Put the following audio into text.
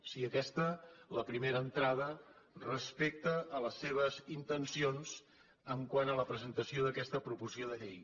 sigui aquesta la primera entrada respecte a les seves intencions quant a la presentació d’aquesta proposició de llei